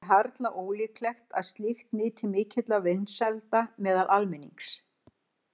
Það er harla ólíklegt að slíkt nyti mikilla vinsælda meðal almennings.